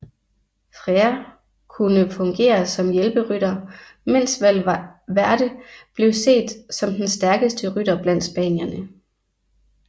Freire kunne fungere som hjælperytter mens Valverde blev set som den stærkeste rytter blandt spanierne